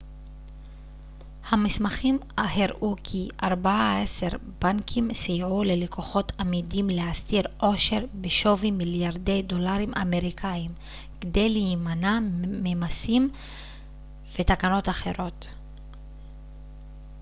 המסמכים הראו כי ארבעה-עשר בנקים סייעו ללקוחות אמידים להסתיר עושר בשווי מליארדי דולרים אמריקאים כדי להימנע ממסים ותקנות אחרות